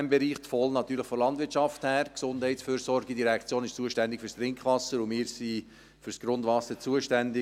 Die VOL, natürlich von der Landwirtschaft her, die GEF ist zuständig für das Trinkwasser, und wir sind für das Grundwasser zuständig;